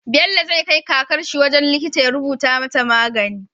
Bello zai kai kakarshi wajan likita ya rubuta mata magani